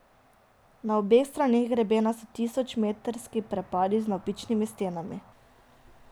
Na obeh straneh grebena so tisočmetrski prepadi z navpičnimi stenami.